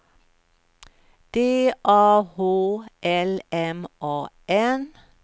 D A H L M A N